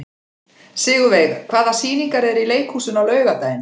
Sigurveig, hvaða sýningar eru í leikhúsinu á laugardaginn?